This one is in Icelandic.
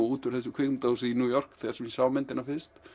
út úr kvikmyndahúsinu í New York þar sem ég sá myndina fyrst